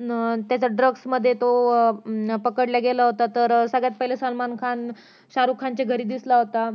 अं त्याच्या drugs मध्ये तो अं पकडला गेला तर सगळ्यात पहिले सलमान खान शारुख खानच्या घरी दिसला होता